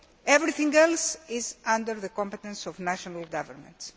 Everything else comes under the competence of national governments.